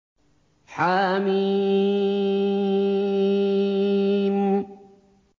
حم